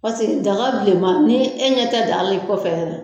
Paseke daga bilenma ni e ɲɛ tɛ daa la i kɔfɛ yɛrɛ.